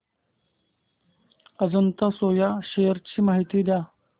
Ajanta Soya shares ची माहिती द्या